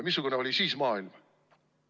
Missugune oli maailm siis?